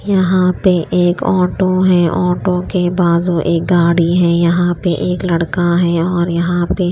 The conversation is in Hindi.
यहां पे एक ऑटो है ऑटो के बाज़ू एक गाड़ी है यहां पे एक लड़का है और यहां पे--